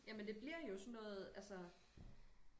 Jamen det bliver jo sådan noget altså